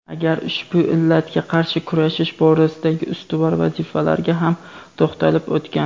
Agar ushbu illatga qarshi kurashish borasidagi ustuvor vazifalarga ham to‘xtalib o‘tgan.